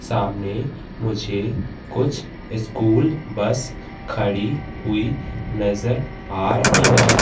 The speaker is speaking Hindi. सामने मुझे कुछ स्कूल बस खड़ी हुई नजर आ रही है।